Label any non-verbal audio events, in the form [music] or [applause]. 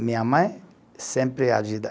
Minha mãe sempre [unintelligible]